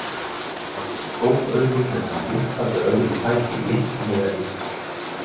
Hún rak upp stór augu þegar hann vippaði öðrum fæti léttilega yfir handriðið.